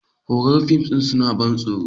Horror fims suna ban tsoro.